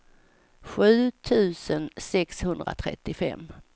sju tusen sexhundratrettiofem